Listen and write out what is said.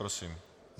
Prosím.